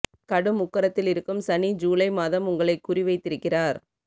கடும் உக்கிரத்தில் இருக்கும் சனி ஜூலை மாதம் உங்களை குறி வைத்திருக்கிறார்